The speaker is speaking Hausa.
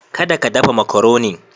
Kada ka dafa makaronin.